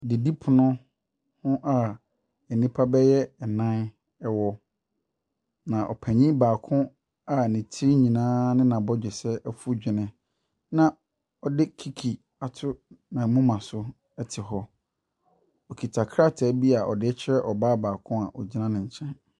Didipono a nnipa bɛyɛ nnan wɔ, na ɔpanin baako a ne tiri nyinaa ne n'abɔdwesɛ afu dwene, na ɔde kiki ato ne moma so te hɔ. Ɔkita krataa bi a ɔde rekyerɛ ɔbaa baako bi a ɔgyina ne nkyɛn.